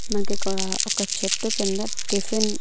మనకిక్కడా ఒక చెట్టు కింద టిఫిన్ --